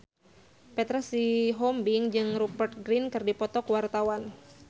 Petra Sihombing jeung Rupert Grin keur dipoto ku wartawan